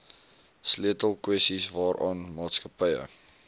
sleutelkwessies waaraan maatskappye